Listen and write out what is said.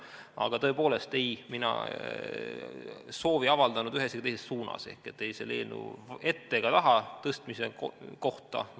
Aga tõepoolest, ei, mina ei avaldanud soovi ei ühes ega teises suunas, ei selle eelnõu ette ega taha tõstmise kohta.